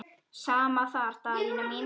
Sama þar Daðína mín.